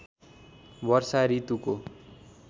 वर्षा ऋतुको